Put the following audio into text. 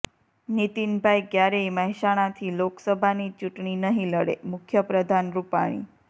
નીતિન ભાઈ ક્યારેય મહેસાણાથી લોકસભાની ચૂંટણી નહીં લડેઃ મુખ્યપ્રધાન રુપાણી